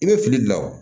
I bɛ fili dilan wa